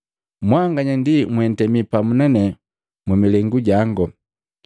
“Mwanganya ndi mwatemi pamu na nane mu milengu jango,